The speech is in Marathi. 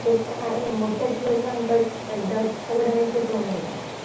हा हे मोट संकट एकदम सगळं काही शिकून गेलं